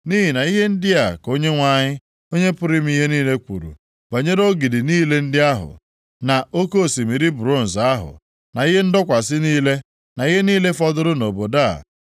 Nʼihi na ihe ndị a ka Onyenwe anyị, Onye pụrụ ime ihe niile kwuru banyere ogidi niile ndị ahụ, na Oke osimiri bronz ahụ, na ihe ndọkwasị niile, na ihe niile fọdụrụ nʼobodo a,